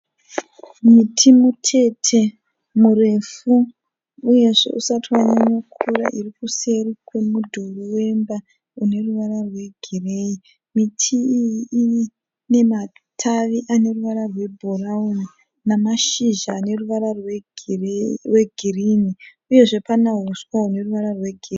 Muti mutete murefu uyezve usati wanyanya kukura irikuseri kwemudhuri wemba uneruvara rwegiriyei. Miti iyi inematavi aneruvara rwebhurauni nemashizha aneruvara rwegirini uyezve pane mahuswa huneruvara rwegirini.